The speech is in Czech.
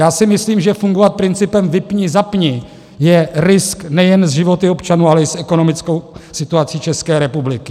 Já si myslím, že fungovat principem vypni-zapni je risk nejen s životy občanů, ale i s ekonomickou situací České republiky.